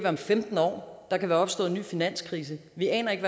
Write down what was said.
om femten år der kan være opstået en ny finanskrise vi aner ikke